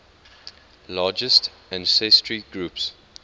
largest ancestry groups